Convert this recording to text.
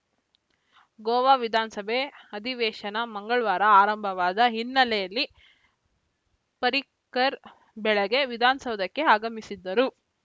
ಗೋವಾ ವಿಧಾನಸಭೆ ಅಧಿವೇಶನ ಮಂಗಳವಾರ ಆರಂಭವಾದ ಹಿನ್ನೆಲೆಯಲ್ಲಿ ಪರ್ರಿಕರ್‌ ಬೆಳಗ್ಗೆ ವಿಧಾನಸೌಧಕ್ಕೆ ಆಗಮಿಸಿದ್ದರು